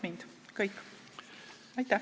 Aitäh!